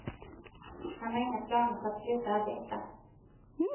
Han har inga planer på att sluta arbeta.